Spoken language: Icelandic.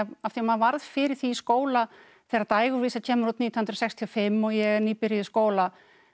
af því maður varð fyrir því í skóla þegar Dægurvísa kemur út nítján hundruð sextíu og fimm og ég er nýbyrjuð í skóla